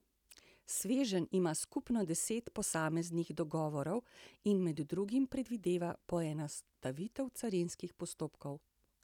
Sveženj ima skupno deset posameznih dogovorov in med drugim predvideva poenostavitev carinskih postopkov.